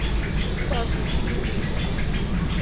kwaziphi iimeko apho